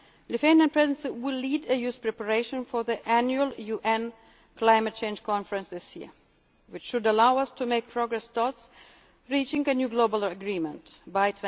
Why? The Lithuanian Presidency will lead the EU's preparations for the annual UN Climate Change Conference this year, which should allow us to make progress towards reaching a new global